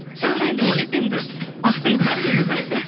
сәуір айында өтеді енді уақытыңыз бар негізі